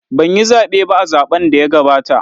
Ban yi zaɓe ba a zaɓn da ya gabata